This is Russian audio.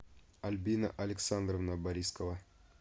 альбина александровна борискова